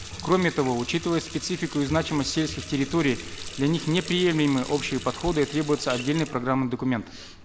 кроме того учитывая специфику и значимость сельских территорий для них неприемлемы общие подходы а требуется отдельный программный документ